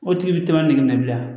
O tigi bi taa ne minɛ bilen